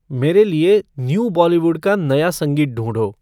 मेरे लिए न्यू बॉलीवुड का नया संगीत ढूँढो